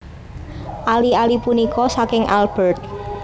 Ali ali punika saking Albert